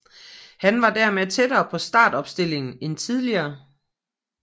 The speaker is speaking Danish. Han var dermed tættere på startopstillingen end tidligere